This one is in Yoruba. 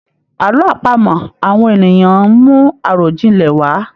Àlọ́ àpamọ awọn ènìyàn ń mú àròjinlẹ̀ wá.